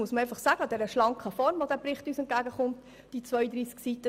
Uns hat die schlanke Form dieses Berichts mit 32 Seiten gefallen.